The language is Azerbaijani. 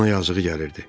Ona yazığı gəlirdi.